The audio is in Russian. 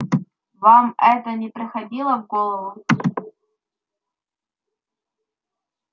вам это не приходило в голову